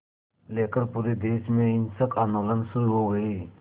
लेकर पूरे देश में हिंसक आंदोलन शुरू हो गए